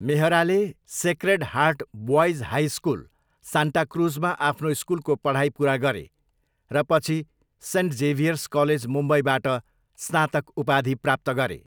मेहराले Sacred Heart Boys High School, सान्टाक्रुजमा आफ्नो स्कुलको पढाइ पुरा गरे र पछि सेन्ट जेभियर्स कलेज, मुम्बईबाट स्नातक उपाधि प्राप्त गरे।